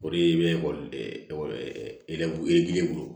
O de ye i bɛ ekɔli e e bolo